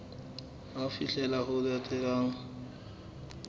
ke ho fihlela ho latelang